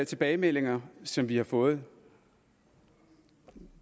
tilbagemeldinger som vi har fået